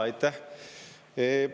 Aitäh!